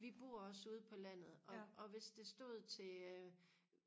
vi bor også ude på landet og hvis det stod til øh